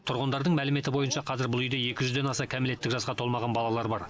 тұрғындардың мәліметі бойынша қазір бұл үйде екі жүзден аса кәмелеттік жасқа толмаған балалар бар